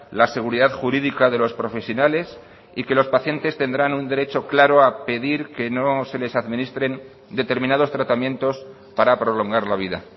la seguridad jurídica de los profesionales y que los pacientes tendrán un derecho claro a pedir que no se les administren determinados tratamientos para prolongar la vida